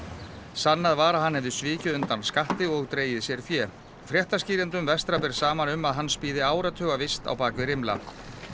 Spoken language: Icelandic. sannað var að hann hefði svikið undan skatti og dregið sér fé vestra ber saman um að hans bíði áratuga vist á bak við rimla